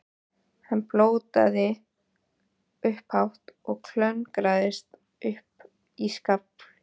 Hann blótaði upphátt og klöngraðist upp í skafl.